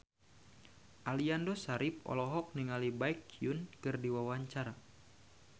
Aliando Syarif olohok ningali Baekhyun keur diwawancara